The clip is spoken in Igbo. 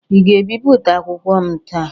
Ị ga-ebipụta akwụkwọ m taa?